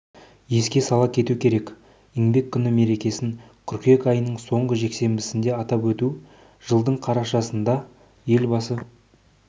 еске сала кету керек еңбек күні мерекесін қыркүйек айының соңғы жексенбісінде атап өту жылдың қарашасында елбасы